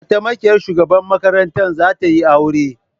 Mataimakiyar shugaban makaranta za tayi aure